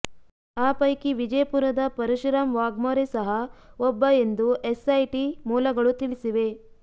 ಆ ಪೈಕಿ ವಿಜಯಪುರದ ಪರಶುರಾಮ್ ವಾಘ್ಮೋರೆ ಸಹ ಒಬ್ಬ ಎಂದು ಎಸ್ ಐಟಿ ಮೂಲಗಳು ತಿಳಿಸಿವೆ